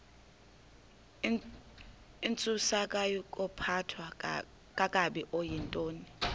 intsusayokuphathwa kakabi okuyintoni